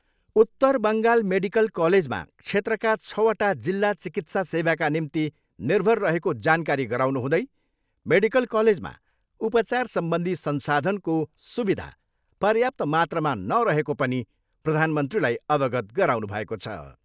उत्तर बङ्गाल मेडिकल कलेजमा क्षेत्रका छवटा जिल्ला चिकित्सा सेवाका निम्ति निर्भर रहेको जानकारी गराउनु हुँदै मेडिकल कलेजमा उपचारसम्बन्धी संसाधनको सुविधा पर्याप्त मात्रामा नरहेको पनि प्रधानमन्त्रीलाई अवगत गराउनुभएको छ।